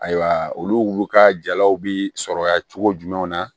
Ayiwa olu ka jalaw bi sɔrɔ yan cogo jumɛnw na